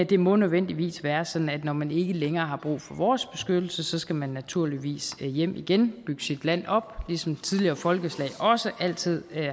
det må nødvendigvis være sådan at når man ikke længere har brug for vores beskyttelse så skal man naturligvis hjem igen bygge sit land op ligesom tidligere folkeslag også altid